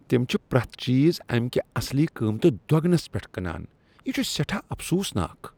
تم چھ پرٛیتھ چیز امہ کہِ اصلی قیمتہٕ دۄگنس پیٹھ کٕنان۔ یہ چھٗ سیٹھاہ افسوُسناك ۔